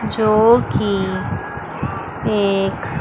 जो की एक--